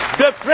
country.